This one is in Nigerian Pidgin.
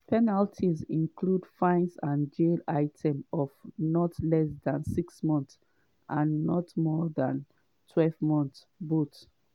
penalties include fines and jail terms of not less than six months and not more dan twelve months or both.